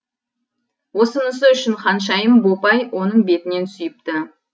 осынысы үшін ханшайым бопай оның бетінен сүйіпті